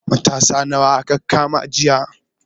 Matasa nawa aka kama jiya?